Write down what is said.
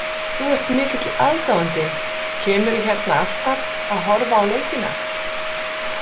Þú ert mikill aðdáandi, kemurðu hérna alltaf að horfa á leikina?